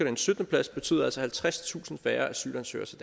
en syttende plads betød altså halvtredstusind færre asylansøgere til